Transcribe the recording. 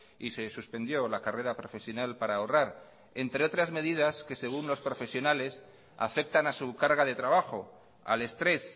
y se suspendió la carrera profesional para ahorrar entre otras medidas que según los profesionales afectan a su carga de trabajo al estrés